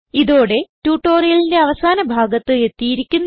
ഇതോടെ ട്യൂട്ടോറിയലിന്റെ അവസാന ഭാഗത്ത് എത്തിയിരിക്കുന്നു